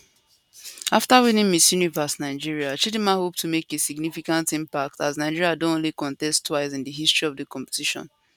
after winning miss universe nigeria chidimma hope to make a significant impact as nigeria don only contest twice in di history of di competition